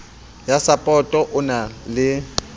ya sapoto o na le